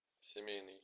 семейный